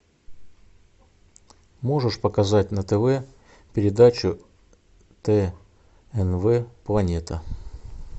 можешь показать на тв передачу тнв планета